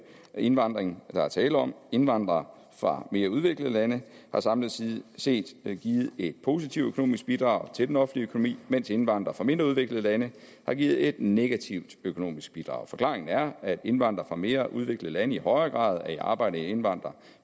indvandring der er tale om indvandrere fra mere udviklede lande har samlet set givet et positivt økonomisk bidrag til den offentlige økonomi mens indvandrere fra mindre udviklede lande har givet et negativt økonomisk bidrag forklaringen er at indvandrere fra mere udviklede lande i højere grad er i arbejde end indvandrere